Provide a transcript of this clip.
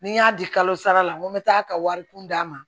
Ni n y'a di kalo sara la n ko n bɛ taa ka wari kun d'a ma